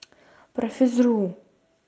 про физру